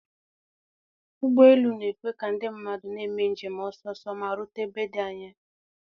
. Ụgbọ elu na-ekwe ka ndị mmadụ na-eme njem ọsọ ọsọ ma rute ebe dị anya